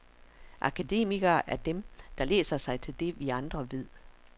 Akademikere er dem der læser sig til det vi andre ved.